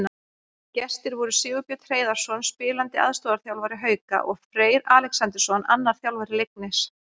Gestir voru Sigurbjörn Hreiðarsson, spilandi aðstoðarþjálfari Hauka, og Freyr Alexandersson, annar þjálfara Leiknis.